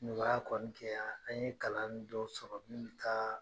Nɔgɔya kɔni kɛra. An ye kalan dɔ sɔrɔ min be taa